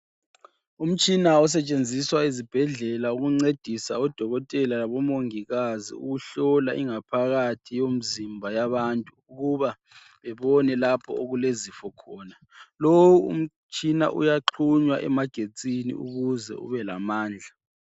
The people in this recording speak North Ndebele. Umtshina osetshenziswa ezibhedlela ukuncedisa odokotela labomongikazi ukuhlola ingaphakathi yomzimba yabantu ukuba ubone lapho okulezifo khona. Lo umtshina uyaxhunywa emagetsini ukuze ubelamandla.